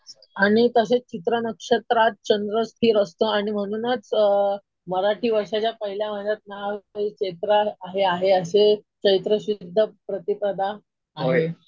आणि तसेच चित्र नक्षत्रात चंद्र स्थिर असतो आणि म्हणूनच मराठी वर्षाच्या पहिल्या महिन्याचं नावही चैत्र हे आहे असे चैत्रशुद्ध प्रतिपदा आहे.